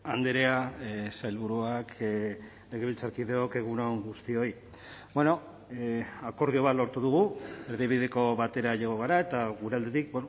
andrea sailburuak legebiltzarkideok egun on guztioi akordio bat lortu dugu erdibideko batera jo gara eta gure aldetik